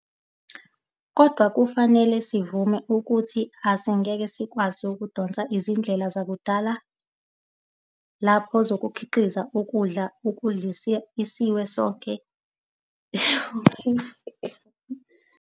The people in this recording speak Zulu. Kodwa kufanele sivume ukuthi asingeke sikwazi ukudonsa izindlela zakudala lapho sokhiqiza ukudla ukudlisa isiwe sonke esikhulu esilingana nalesi sethu. Kufanele sivame ukuthola izindlela ezinsha ezizosisiza ukudlisa isiswe sethtu.